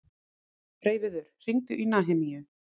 Freyviður, hringdu í Nahemíu.